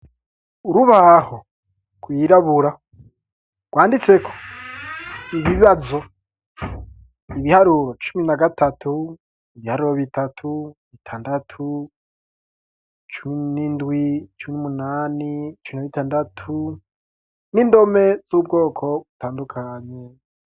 Urubaho ku yirabura rwanditse ko ibibazo .ibiharuro cumi na gatatu ibiharuro bitatu bitandatu cumi n'indwi cumi imunani cumi na bitandatu n'indome z'ubwoko butandukanye.